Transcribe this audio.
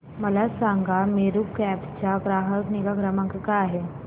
मला सांगा मेरू कॅब चा ग्राहक निगा क्रमांक काय आहे